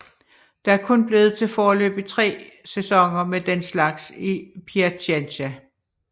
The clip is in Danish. Det er dog kun blevet til foreløbig tre sæsoner med den slags i Piacenza